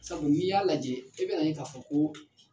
Sabu n'i y'a lajɛ i bɛ na ye k'a fɔ ko